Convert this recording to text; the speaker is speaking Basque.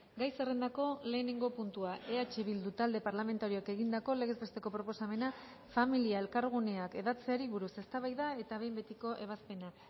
gai zerrendako lehenengo puntua eh bildu talde parlamentarioak egindako legez besteko proposamena familia elkarguneak hedatzeari buruz eztabaida eta behin betiko ebazpena